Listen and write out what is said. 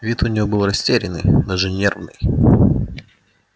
вид у нее был растерянный даже нервный